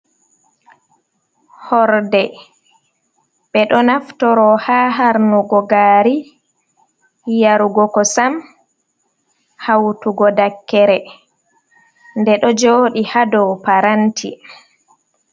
Horɗe: Ɓe ɗo naftoro ha harnugo gari yarugo ko sam hautugo dakere ɗe ɗo jodi ha ɗow paranti.